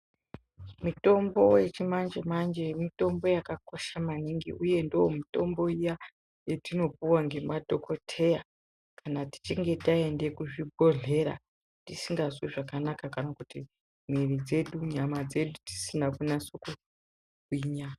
Mitombo yechimanje manje mutombo yakakosha maningi uye ndomutombo iya yatinopiwa ngemadhokotera kana tichinge taende kucmzvibhodhlera tisingazwi zvakanaka kana kuti mwiri dzedu nyama dzedu dzisikazi kunyase kugwinya.